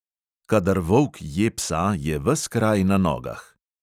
Kadar volk je psa, je ves kraj na nogah.